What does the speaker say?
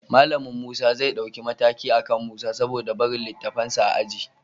Malamin Musa zai ɗauki mataki akan Musa saboda barin littafansa a aji